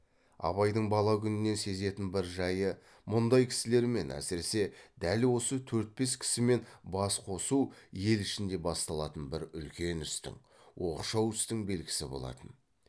абайдың бала күнінен сезетін бір жайы мұндай кісілермен әсіресе дәл осы төрт бес кісімен бас қосу ел ішінде басталатын бір үлкен істің оқшау істің белгісі болатын